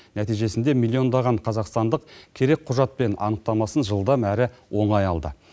нәтижесінде миллиондаған қазақстандық керек құжат пен анықтамасын жылдам әрі оңай алды